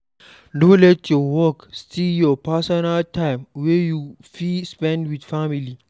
No let your work steal your personal time wey you fit spend with family